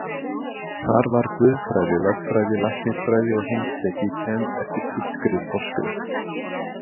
Þar var guðfræði, lögfræði, læknisfræði og heimspeki kennd eftir þýskri forskrift.